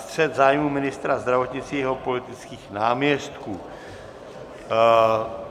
Střet zájmů ministra zdravotnictví a jeho politických náměstků